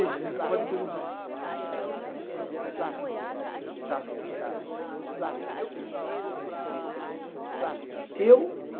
Gisela? Pode perguntar então. Então, eh, e o senhor acha que a poesia pode nos ajudar a combater a barbárie que nos vive? Eu